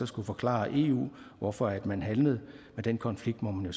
skulle forklare eu hvorfor man handlede men den konflikt måtte man